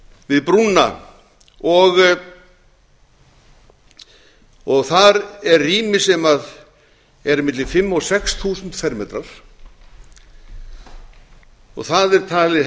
við brúna og þar er rými sem er á milli fimm og sex þúsund fermetrar það er talið